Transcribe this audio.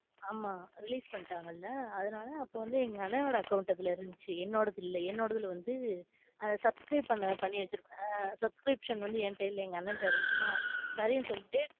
ஆமா release பண்ணிட்டாங்களா அதனால அப்போ வந்து எங்க அண்ணனோட account அதுல இருந்துச்சு என்னோடது இல்ல. என்னோடதுல வந்து அத subscribe பண்ண பண்ணி வச்சுருப்பேன் ஆஹ் Subscription வந்து என்கிட்ட இல்ல எங்க அண்ணன்ட்ட இருந்துச்சா சரினு சொல்லிட்டு,